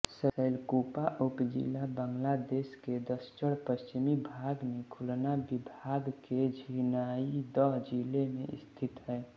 शैलकूपा उपजिला बांग्लादेश के दक्षिणपश्चिमी भाग में खुलना विभाग के झिनाइदह जिले में स्थित है